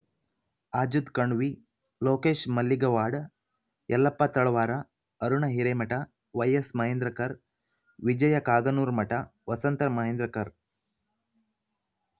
ಆಝದ್ Kanvi Lokesh ಮಲ್ಲಿಗವಾಡ್ Yallappa Talawar Aruna Hiremath ವೈಎಸ್ಮಹೇಂದ್ರಕರ್ Vijaya ಕಾಗನೂರಮಠ Vasantha Mahendrakar